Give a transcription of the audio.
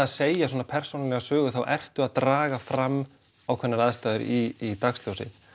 að segja svona persónulega sögu þá ertu að draga fram ákveðnar aðstæður í dagsljósið